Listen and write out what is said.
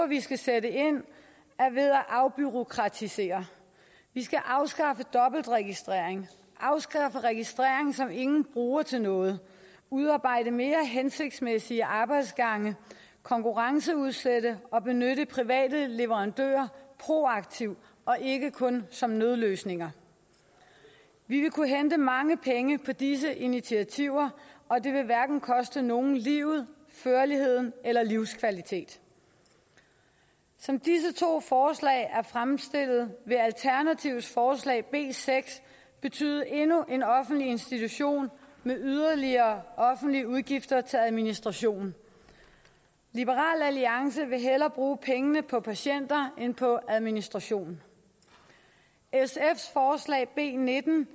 vi skal sætte ind er ved at afbureaukratisere vi skal afskaffe dobbeltregistrering afskaffe registrering som ingen bruger til noget udarbejde mere hensigtsmæssige arbejdsgange konkurrenceudsætte og benytte private leverandører proaktivt og ikke kun som nødløsninger vi vil kunne hente mange penge på disse initiativer og det vil hverken koste nogle livet førligheden eller livskvaliteten som disse to forslag er fremstillet vil alternativets forslag b seks betyde endnu en offentlig institution med yderligere offentlige udgifter til administrationen liberal alliance vil hellere bruge pengene på patienter end på administration sfs forslag b nitten